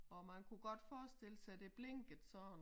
Og man kunne godt forstille sig det blinkede sådan